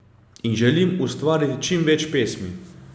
In želim ustvariti čim več pesmi.